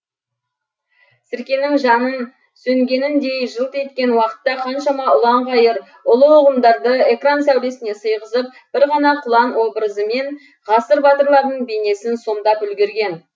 сіркенің жанып сөнгеніндей жылт еткен уақытта қаншама ұлан қайыр ұлы ұғымдарды экран сәулесіне сыйғызып бір ғана құлан образымен ғасыр батырларының бейнесін сомдап үлгерген